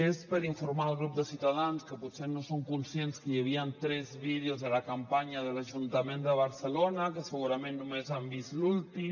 és per informar al grup de ciutadans que potser no són conscients que hi havia tres vídeos de la campanya de l’ajuntament de barcelona que segurament només han vist l’últim